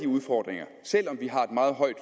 udfordringer selv om vi har et meget højt